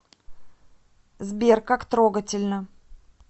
сбер как трогательно